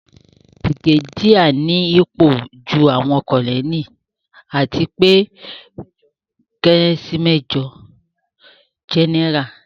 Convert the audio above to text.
Bìrìgédíà nípò ju àwọn Kọ́nẹ́ẹ̀lì àti pé ó kéré sí mẹ́jọ̀ Jẹ́nẹ́rà